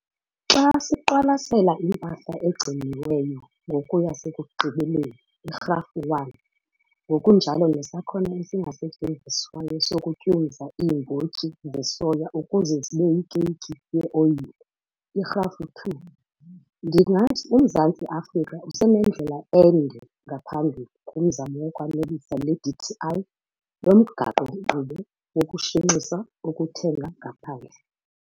Xa siqwalasela impahla egciniweyo ngoku yasekugqibeleni, iGrafu 1, ngokunjalo nesakhono esingasetyenziswayo sokutyumza iimbotyi zesoya ukuze zibe yikeyiki yeoyile, iGrafu 2, ndingathi uMzantsi Afrika usenendlela ende ngaphambili kumzamo wokwanelisa leDTI lomgaqo-nkqubo wokushenxisa ukuthenga ngaphandle.